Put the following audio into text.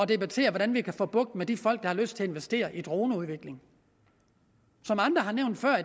debattere hvordan vi kan få bugt med de folk der har lyst til at investere i droneudvikling som andre har nævnt før